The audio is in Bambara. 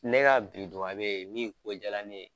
Ne ka bi dubabe min ko jala ne ye